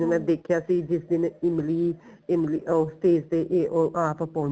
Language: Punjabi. ਮੈਂ ਦੇਖਿਆ ਸੀ ਜਿਸ ਦਿਨ ਇਮਲੀ ਇਮਲੀ ਉਹ stage ਤੇ ਉਹ ਆਪ